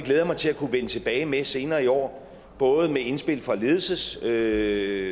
jeg mig til at kunne vende tilbage med senere i år både med indspil fra ledelsesudvalget